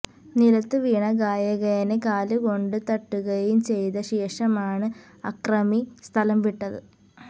നിലത്തു വീണ ഗായകനെ കാലുകൊണ്ട് തട്ടുകയും ചെയ്ത ശേഷമാണ് അക്രമി സ്ഥലം വിട്ടത്